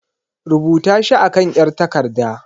Rubuta shi a kan 'yar takarda.